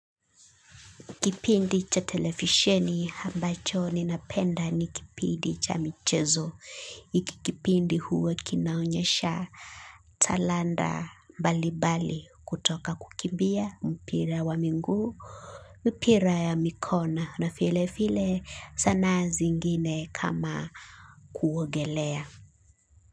Kipindi cha televisheni ambacho ninapenda ni kipindi cha michezo. Hiki kipindi huwa kinaonyesha talanta mbalimbali kutoka kukimbia, mpira wa miguu, mipira ya mikono na vilevile sanaa zingine kama kuogelea.